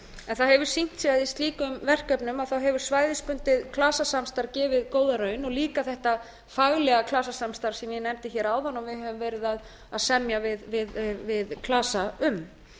en það hefur sýnt sig að í slíkum verkefnum hefur svæðisbundið klasasamstarf gefið góða raun og líka þetta faglega klasasamstarf sem ég nefndi hér áðan að við hefðum verið að semja við klasa um